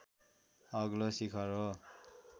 अग्लो शिखर हो